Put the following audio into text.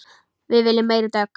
Við viljum meiri dögg!